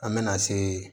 An bɛna se